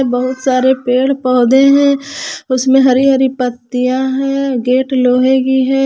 बहुत सारे पेड़ पौधें है उसमें हरी हरी पत्तियां है गेट लोहे की है।